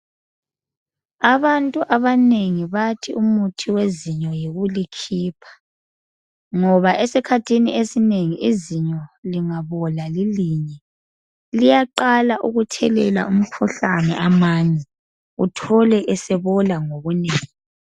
Abantu abanengi bathi umuthi wezinyo yikulikhipha, ngoba esikhathini esinengi izinyo lingabola lilinye liyaqala ukuthelela umkhuhlane amanye uthole esebola ngobunengi.